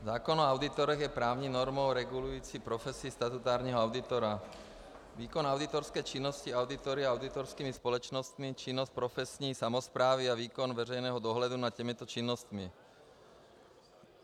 Zákon o auditorech je právní normou regulující profesi statutárního auditora, výkon auditorské činnosti auditory a auditorskými společnostmi, činnost profesní samosprávy a výkon veřejného dohledu nad těmito činnostmi.